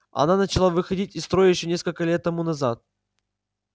она начала выходить из строя ещё несколько лет тому назад